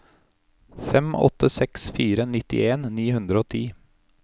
fem åtte seks fire nittien ni hundre og ti